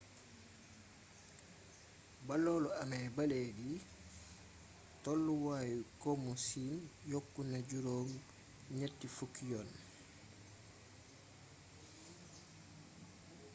ba loolu amee ba léegi tolluwaayu komu siin yokku na juróom ñenti fukki yoon